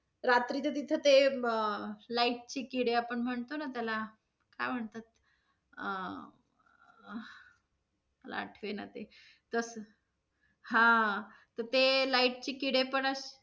रात्रीचं तिथे ते अं light चे किडे आपण म्हणतो न त्याला, काय म्हणतात? अं मला आठवेना ते, जस हा~ तर ते light चे किडे पण असं.